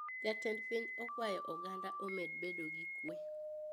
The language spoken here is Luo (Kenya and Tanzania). Jatend piny okwayo oganda omed bedo gi kwee